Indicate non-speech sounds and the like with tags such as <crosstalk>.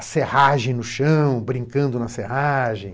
<unintelligible> serragem no chão, brincando na serragem.